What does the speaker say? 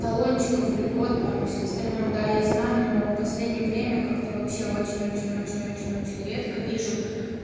талончиков льгот там всё остальное да я знаю но последнее время как-то вообще очень очень очень очень очень редко вижу